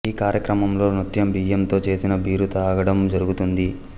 ఈ కార్యక్రమంలో నృత్యం బియ్యంతో చేసిన బీరు తాగడం జరుగుతుంది